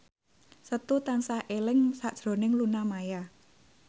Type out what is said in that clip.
Setu tansah eling sakjroning Luna Maya